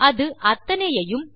அது அத்தனையையும்